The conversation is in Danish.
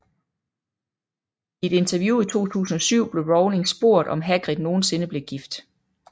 I et interview i 2007 blev Rowling spurgt om Hagrid nogensinde blev gift